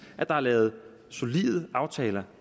at der er lavet solide aftaler